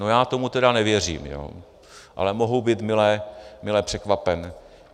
No já tomu teda nevěřím, ale mohu být mile překvapen.